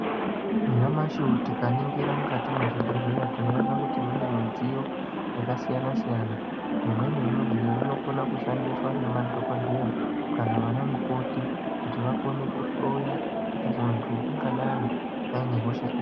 Nyamashi uuyu tikaningira mukati mwezvibhedhleya tinoona kuti mune midziyo yakasiyana siyana imweni yemidziyo inokona kushandiswa ngemadhokodheya uye ana mukoti kuti vakone kuhloya kuti muntu angadai ane hosha ipi.